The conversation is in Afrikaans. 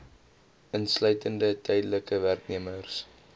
insluitende tydelike werknemers